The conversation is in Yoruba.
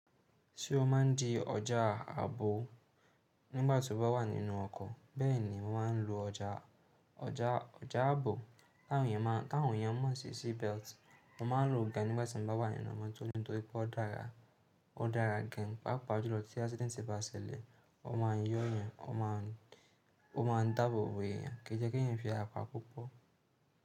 Sọ má n di ọjà ààbò nígbàtí o bá wà nínú ọkọ̀ bẹ́ẹ̀ni mo máa n lo ọjà, ọjà, ọjà ààbò káwọn èèyàn mọ, káwọn èèyàn mọ̀ sí seat belt. Mo ma n lo gan nígbàtí mo bá wà nínú mótò torí pé ó dára, ó dára gan pàápàá ju lọ tí accident bá ṣẹlẹ̀ o ma n yọ èèyàn, o ma n, o ma n dábòbò èèyàn, kí jẹ́ kí n fi àpá púpọ̀